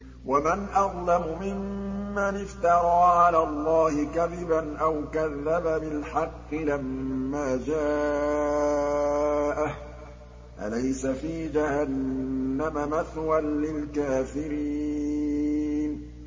وَمَنْ أَظْلَمُ مِمَّنِ افْتَرَىٰ عَلَى اللَّهِ كَذِبًا أَوْ كَذَّبَ بِالْحَقِّ لَمَّا جَاءَهُ ۚ أَلَيْسَ فِي جَهَنَّمَ مَثْوًى لِّلْكَافِرِينَ